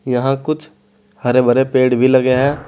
यहां कुछ हरे भरे पेड़ भी लगे हैं।